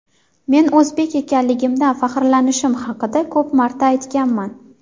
Men o‘zbek ekanligimdan faxrlanishim haqida ko‘p marta aytganman.